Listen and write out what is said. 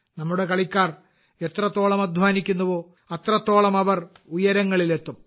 നമ്മുടെ കളിക്കാർ എത്രത്തോളം അധ്വാനിക്കുന്നുവോ അത്രത്തോളം ഉയരങ്ങളിൽ അവരെത്തും